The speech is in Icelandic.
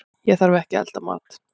Ég þarf ekki að elda mat.